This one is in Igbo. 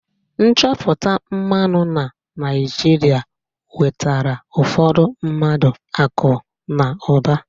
Nchọpụta mmanụ na Naịjirịa wetara ụfọdụ mmadụ akụ na ụba.